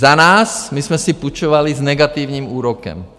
Za nás, my jsme si půjčovali s negativním úrokem.